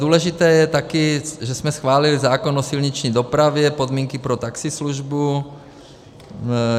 Důležité je taky, že jsme schválili zákon o silniční dopravě, podmínky pro taxislužbu.